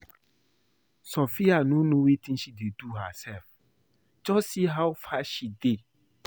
Sophia no know wetin she dey do herself, just see how fat she dey